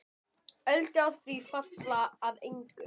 Öldur á því falla að engu.